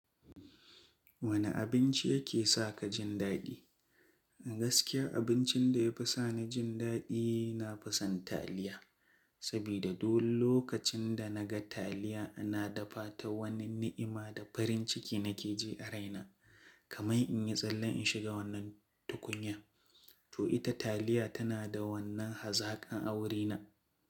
Wane abinci yake sa ka jin daɗi? Gaskiyar abincin da ya fi sa ni jin daɗi, na fi son taliya. Sabida duk lokacin da na ga taliya ana dafa ta, wani ni'ima da farin ciki na ke ji a raina. Kamai in yi tsalle in shiga wannan tukunya. To ita taliya tana da wannan hazaƙan a wurina.